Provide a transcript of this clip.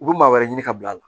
U bɛ maa wɛrɛ ɲini ka bila a la